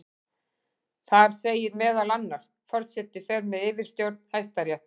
Þar segir meðal annars: Forseti fer með yfirstjórn Hæstaréttar.